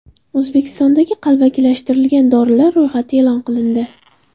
O‘zbekistondagi qalbakilashtirilgan dorilar ro‘yxati e’lon qilindi.